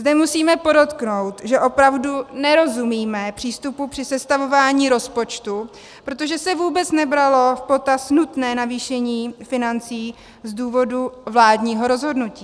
Zde musíme podotknout, že opravdu nerozumíme přístupu při sestavování rozpočtu, protože se vůbec nebralo v potaz nutné navýšení financí z důvodu vládního rozhodnutí.